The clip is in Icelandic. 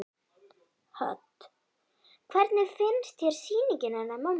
Hödd: Hvernig finnst þér sýningin hennar mömmu?